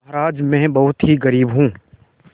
महाराज में बहुत ही गरीब हूँ